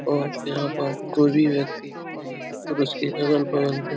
औ यहाँ पर कोई भी व्यक्ति नहीं है और उसके अगल-बगल में --